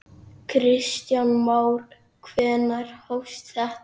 Kristján Már: Hvenær hófst þetta?